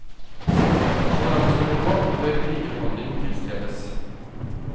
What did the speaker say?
Så langt som råd bør likebehandling tilstrebes.